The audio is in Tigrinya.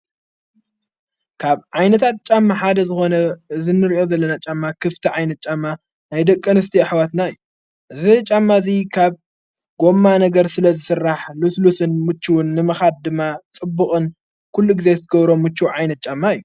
ካብ ዓይነታት ጫማ ሓደ ዝኾነ ዝንርእዮ ዘለና ጫማ ክፍቲ ዓይነት ጫማ ናይደቀንስቲ ኣኅዋትና እዩ እዝ ጫማ እዙይ ኻብ ጐማ ነገር ስለ ዝሥራሕ ልስሉስን ምችውን ንመኻድ ድማ ጽቡቕን ኲሉ እግዜስቲገብሮ ሙች ዓይነት ጫማ እዩ።